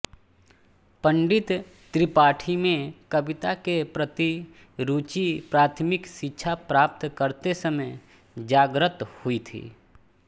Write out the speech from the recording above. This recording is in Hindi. पंडित त्रिपाठी में कविता के प्रति रुचि प्राथमिक शिक्षा प्राप्त करते समय जाग्रत हुई थी